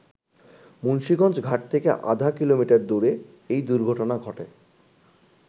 মুন্সীগঞ্জ ঘাট থেকে আধা কিলোমটার দূরে এই দুর্ঘটনা ঘটে।